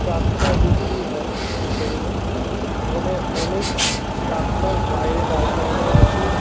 Tractor বিক্রি হয় যে শোরুম এ এখানে অনেক ট্রাক্টার বাইরে দাঁড় করানো আছে।